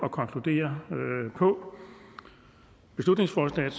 at konkludere på beslutningsforslaget